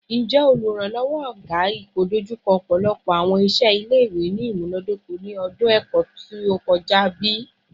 Njẹ Oluranlọwọ Oluranlọwọ / oga ipoidojuko ọpọlọpọ awọn iṣẹ ile-iwe ni imunadoko ni ọdun ẹkọ to kọja bi?